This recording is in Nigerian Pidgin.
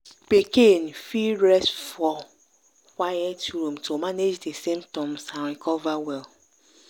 pikin fit rest for quiet room to manage di symptoms and recover well.